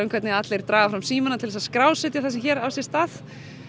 um hvernig allir draga fram símana til að skrásetja það sem hér á sér stað